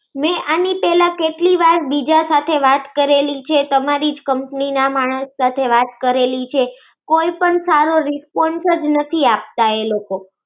મેં એની પેલા કેટલીવાર બીજા સાથે વાત કરેલી છે તમારી જ કંપની ના માણસ સાથે વાત કરેલી છે. કોઈ સારો response જ નથી આપતા એ લોકો.